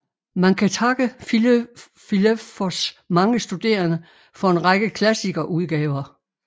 Man kan takke Filelfos mange studerende for en række klassiskerudgaver